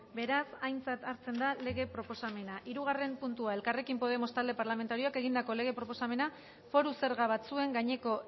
beraz aintzat hartzen da lege proposamena hirugarren puntua elkarrekin podemos talde parlamentarioak egindako lege proposamena foru zerga batzuen gaineko